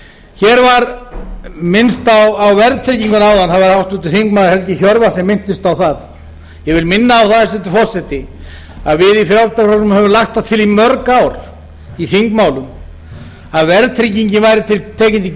hér var minnst á verðtryggingu áðan það var háttvirtur þingmaður helgi hjörvar sem minntist á það ég vil minna á það hæstvirtur forseti að við í frjálslynda flokknum höfum lagt það til í mörg ár í þingmálum að verðtryggingin væri tekin til